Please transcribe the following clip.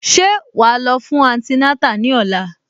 Ṣé wàá lọ fún antinátà ní òla?